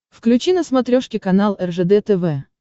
включи на смотрешке канал ржд тв